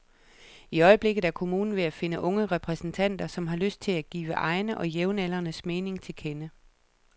I øjeblikket er kommunen ved at finde unge repræsentanter, som har lyst til at give egne og jævnaldrendes mening til kende.